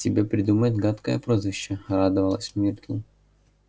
тебе придумают гадкое прозвище радовалась миртл